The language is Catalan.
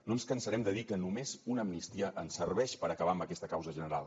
no ens cansarem de dir que només una amnistia ens serveix per acabar amb aquesta causa general